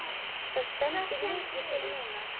Það stendur mikið til núna.